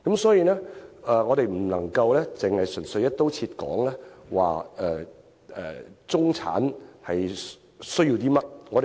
所以，我們不能純粹"一刀切"去界定中產人士需要甚麼。